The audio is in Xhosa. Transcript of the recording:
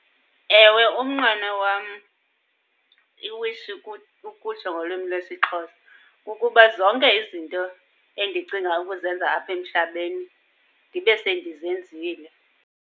Ewe, umnqweno wam, iwishi ukutsho ngolwimi lwesiXhosa, kukuba zonke izinto endicinga ukuzenza apha emhlabeni ndibe sendizenzile.